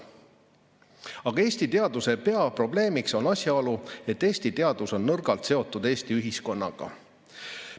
Aga Eesti teaduse peaprobleemiks on asjaolu, et Eesti teadus on nõrgalt seotud Eesti ühiskonnaga.